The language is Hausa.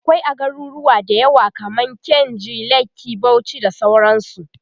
akwai a garuruwa da yawa kaman kainji, lekki, Bauchi da sauransu